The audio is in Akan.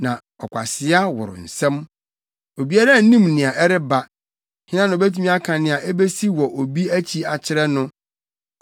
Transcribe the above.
na ɔkwasea woro nsɛm. Obiara nnim nea ɛreba, hena na obetumi aka nea ebesi wɔ obi akyi akyerɛ no?